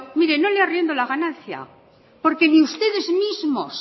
mire no le arriendo la ganancia porque ni ustedes mismos